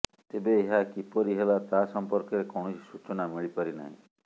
ତେବେ ଏହା କିପରି ହେଲା ତାହା ସମ୍ପର୍କରେ କୌଣସି ସୂଚନା ମିଳିପାରିନାହିଁ